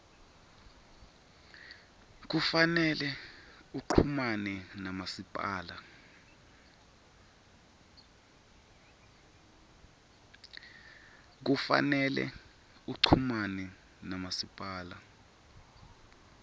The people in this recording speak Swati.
kufanele uchumane namasipala